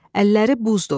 Əlləri buzdur.